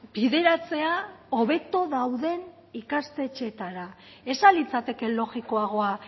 bideratzea hobeto dauden ikastetxeetara ez ahal litzateke logikoagoa